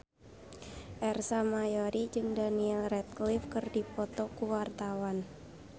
Ersa Mayori jeung Daniel Radcliffe keur dipoto ku wartawan